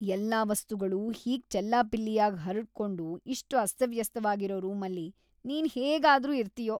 ಎಲ್ಲಾ ವಸ್ತುಗಳೂ ಹೀಗ್‌ ಚೆಲ್ಲಾಪಿಲ್ಲಿಯಾಗ್‌ ಹರಡ್ಕೊಂಡು ಇಷ್ಟ್‌ ಅಸ್ತವ್ಯಸ್ತವಾಗಿರೋ ರೂಮಲ್ಲಿ ನೀನ್‌ ಹೇಗಾದ್ರೂ ಇರ್ತೀಯೋ?!